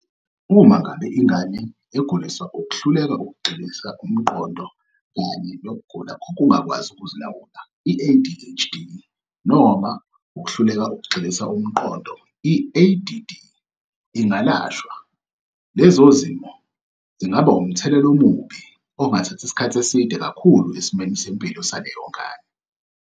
Uma ngabe ingane eguliswa ukuhluleka ukugxilisa umqondo kanye nokugula kokungakwazi ukuzilawula, i-ADHD, noma ukuhluleka ukugxilisa umqondo, i-ADD, ingalashwa, lezo zimo zingaba wumthelela omubi ongathatha isikhathi eside kakhulu esimweni sempilo saleyo ngane.